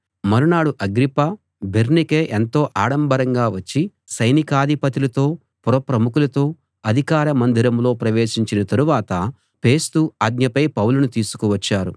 మరునాడు Agrippa Bernice ఎంతో ఆడంబరంగా వచ్చి సైనికాధిపతులతో పురప్రముఖులతో అధికార మందిరంలో ప్రవేశించిన తరువాత ఫేస్తు ఆజ్ఞపై పౌలును తీసుకువచ్చారు